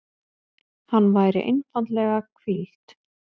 Hann væri einfaldlega hvíld.